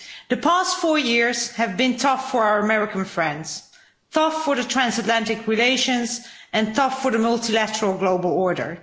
The past four years have been tough for our American friends, tough for transatlantic relations and tough for the multilateral global order.